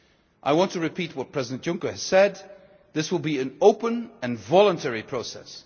I want to repeat what President Juncker has said this will be an open and voluntary